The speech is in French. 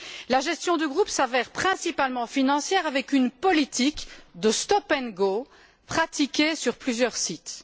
La gestion du groupe s'avère principalement financière, avec une politique de stop and go pratiquée sur plusieurs sites.